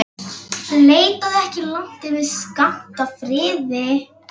Leitaðu ekki langt yfir skammt að friði.